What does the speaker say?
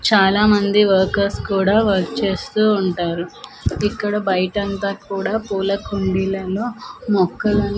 చాలామంది వర్కర్స్ కూడా వర్క్ చేస్తూ ఉంటారు ఇక్కడ బయట అంతా కూడా పూల కుండీలలో మొక్కలను--